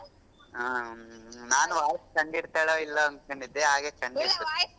ಹ್ಮ್ ನಾನ್ voice ಕಂಡ್ಹಿಡ್ತಾಳೊ ಇಲ್ವೋ ಅನ್ಕೊಂಡಿದ್ದೆ ಹಾಗೆ ಕಂಡ್ಹಿಡ್ಬಿಟ್ಟೆ .